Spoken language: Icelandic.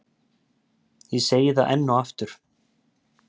Ég segi það enn og aftur.